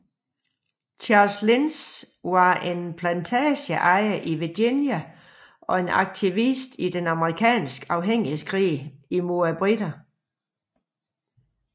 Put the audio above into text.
Charles Lynch var en plantageejer i Virginia og en aktivist i den amerikanske uafhængighedskrig mod briterne